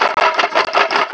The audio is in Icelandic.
Nú var að bíða.